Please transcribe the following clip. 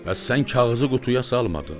Bəs sən kağızı qutuya salmadın?